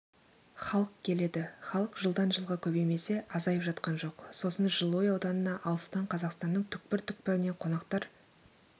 халық келеді халық жылдан жылға көбеймесе азайып жатқан жоқ сосын жылыой ауданына алыстан қазақстанның түкпір-түкпірінен қонақтар